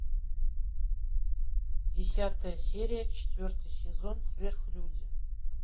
десятая серия четвертый сезон сверхлюди